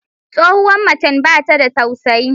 Tsohuwar macen bata da tausayi.